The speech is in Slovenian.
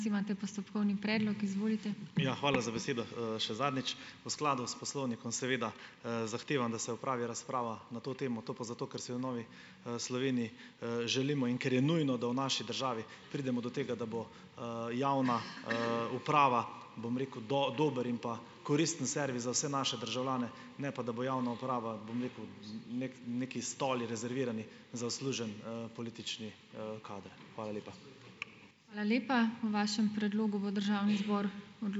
Ja, hvala za besedo, še zadnjič. V skladu s poslovnikom, seveda, zahtevam, da se opravi razprava na to temo, to pa zato, ker se je v Novi, Sloveniji, želimo in ker je nujno, da v naši državi pridemo do tega, da bo, javna, uprava, bom rekel, dober in pa koristen servis za vse naše državljane, ne pa, da bo javna uprava, bom rekel, neki stoli, rezervirani za odslužen, politični, kader. Hvala lepa.